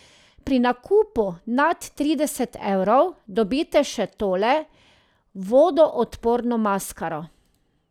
Pri nakupu nad trideset evrov dobite še tole vodoodporno maskaro.